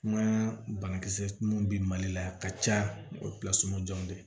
Kuma banakisɛ mun bi mali la a ka ca o de ye